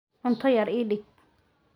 Cunto yar ii dhig.